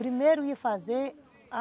Primeiro ia fazer a